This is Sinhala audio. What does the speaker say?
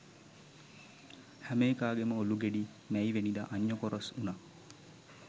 හැම එකාගෙම ඔළු ගෙඩි මැයිවෙනිදා අඤ්ඤකොරොස් වුනා